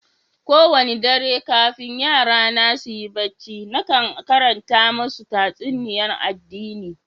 Kowani dare kafin yara na su yi barci nakan karanta masu tatsuniya'n addini.